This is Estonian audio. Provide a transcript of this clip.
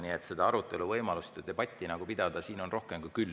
Nii et seda võimalust arutelu ja debatti pidada on rohkem kui küll.